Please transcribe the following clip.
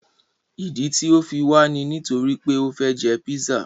Ìdí tí o fi wà ní nítorí pé o fẹ jẹ pízzà.